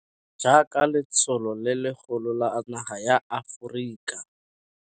Jaaka letsholo le legolo la naga ya Aforika.